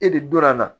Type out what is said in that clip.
E de donna a la